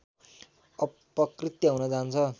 अपकृत्य हुन जान्छ